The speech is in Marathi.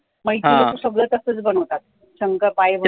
मग इथे सगळं तसच बनवतात, शंकरपाळॆ